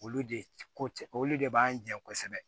Olu de ko cɛ olu de b'an jɛ kosɛbɛ